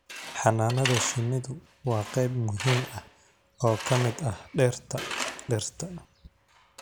Xannaanada shinnidu waa qayb muhiim ah oo ka mid ah dhirta dhirta.